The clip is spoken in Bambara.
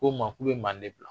Ko n ma k'u ye manden bila.